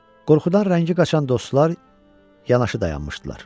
Qorxudan rəngi qaçan dostlar yanaşı dayanmışdılar.